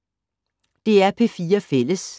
DR P4 Fælles